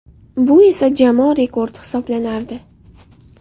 Bu esa jamoa rekordi hisoblanardi.